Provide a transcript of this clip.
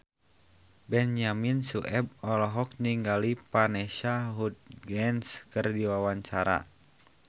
Benyamin Sueb olohok ningali Vanessa Hudgens keur diwawancara